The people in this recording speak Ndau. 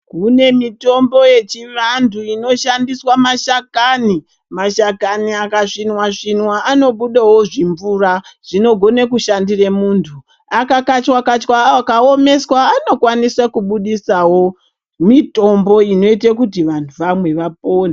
Kune mitombo yechivantu inoshandiswa mashakani, mashakani akasvinwa svinwa anobudawo zvimvura, zvinogone kushandire muntu. Akakachwa kachwa akaomeswa anokwanise kubudisawo mitombo inoita kuti vantu vamwe vapone.